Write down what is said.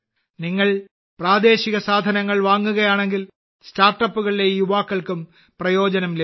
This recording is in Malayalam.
നിങ്ങൾ പ്രാദേശിക സാധനങ്ങൾ വാങ്ങുകയാണെങ്കിൽ സ്റ്റാർട്ടപ്പുകളിലെ ഈ യുവാക്കൾക്കും പ്രയോജനം ലഭിക്കും